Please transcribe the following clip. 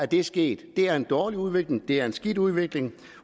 det sket det er en dårlig udvikling det er en skidt udvikling